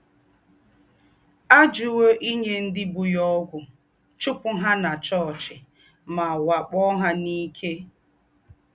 Àjúwò ínyé ndí́ bú yá ógwù, chùpù hà nà chòọ́chì, mà wàkpọ́ hà n’íké.